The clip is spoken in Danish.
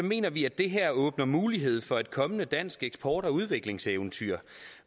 mener vi at det her åbner mulighed for et kommende dansk eksport og udviklingseventyr